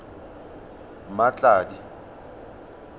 mmatladi